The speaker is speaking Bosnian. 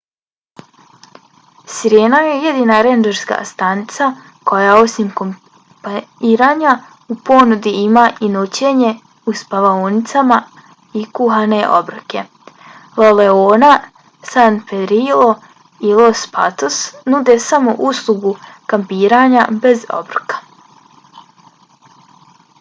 sirena je jedina rendžerska stanica koja osim kampiranja u ponudi ima i noćenje u spavaonicama i kuhane obroke. la leona san pedrillo i los patos nude samo uslugu kampiranja bez obroka